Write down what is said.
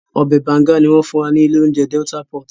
Ọbẹ̀ banga ni wọ́n fún wa ní ilé oúnjẹ Delta pot